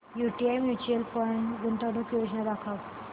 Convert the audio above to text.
UTI mutual fund गुंतवणूक योजना दाखव